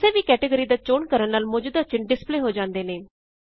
ਕਿਸੇ ਵੀ ਕੈਟੇਗਰੀ ਦਾ ਚੋਣ ਕਰਣ ਨਾਲ ਮੌਜੂਦਾ ਚਿੰਨ ਡਿਸਪਲੇ ਹੋ ਜਾਂਦੇ ਨੇ